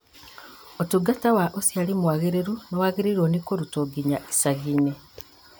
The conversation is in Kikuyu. ũtungata wa ũciari mwagĩrĩru nĩwagĩrĩirwo nĩ kũrutwo nginya icagi-inĩ